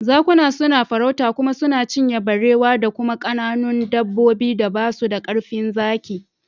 Zakuna suna farauta kuma suna cinye barewa da kuma kananun dabbobin da basu da karfin zaki.